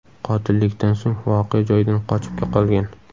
Qotillikdan so‘ng voqea joyidan qochib qolgan.